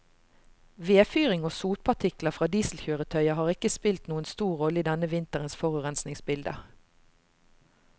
Vedfyring og sotpartikler fra dieselkjøretøyer har ikke spilt noen stor rolle i denne vinterens forurensningsbilde.